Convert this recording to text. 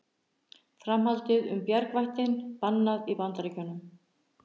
Framhaldið um bjargvættinn bannað í Bandaríkjunum